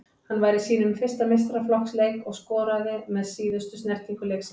Hann var í sínum fyrsta meistaraflokksleik og skoraði með síðustu snertingu leiksins.